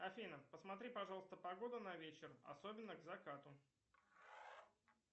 афина посмотри пожалуйста погоду на вечер особенно к закату